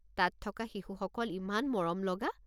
তাত থকা শিশুসকল ইমান মৰম লগা।